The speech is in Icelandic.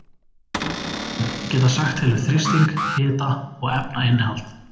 Slík líkön geta sagt til um þrýsting, hita og efnainnihald.